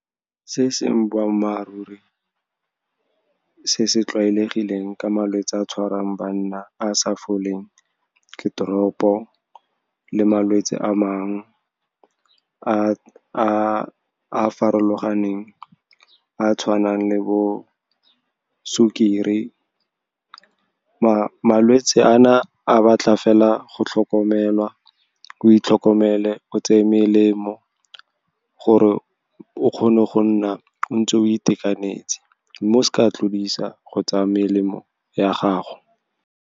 Se e seng boammaaruri se se tlwaelegileng ka malwetse a tshwarang banna a sa foleng ke drop-o le malwetse a mangwe a farologaneng a tshwanang le bo sukiri. Malwetse ana a batla fela go tlhokomelwa, o itlhokomele, o tseye melemo gore o kgone go nna o ntse o itekanetse, mme o seke wa tlodisa go tsaya melemo ya gago.